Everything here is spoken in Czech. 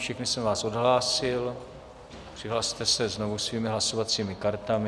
Všechny jsem vás odhlásil, přihlaste se znovu svými hlasovacími kartami.